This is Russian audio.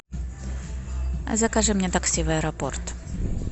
закажи мне такси в аэропорт